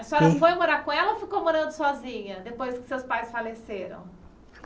A senhora foi morar com ela ou ficou morando sozinha depois que seus pais faleceram?